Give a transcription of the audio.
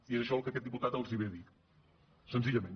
i és això el que aquest diputat els ve a dir senzillament